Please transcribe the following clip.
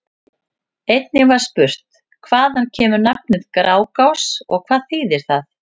Einnig var spurt: Hvaðan kemur nafnið Grágás og hvað þýðir það?